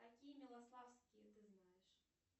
какие милославские ты знаешь